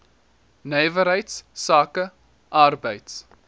nywerheids sake arbeids